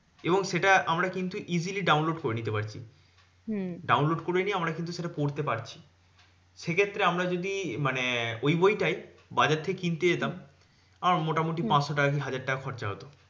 এবং সেটা আমরা কিন্তু easily download করে নিতে পারছি। download করে নিয়ে আমরা কিন্তু সেটা পড়তে পারছি। সেক্ষেত্রে আমরা যদি মানে ওই বইটাই বাজার থেকে কিনতে যেতাম, আমার মোটামুটি পাঁচশো টাকা কি হাজার টাকা খরচা হতো।